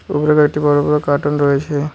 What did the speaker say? উপরে কয়েকটি বড়ো বড়ো কার্টন রয়েছে।